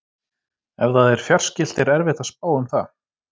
Ef það er fjarskylt er erfitt að spá um það.